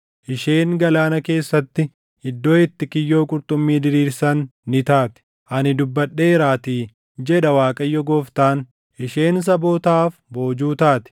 Isheen galaana keessatti iddoo itti kiyyoo qurxummii diriirsan ni taati; ani dubbadheeraatii, jedha Waaqayyo Gooftaan. Isheen sabootaaf boojuu taati;